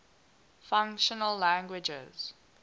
functional languages